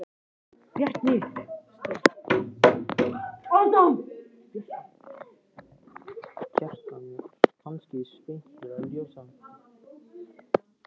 Kristján: Þetta er kannski stysta ljósmyndasýning sögunnar?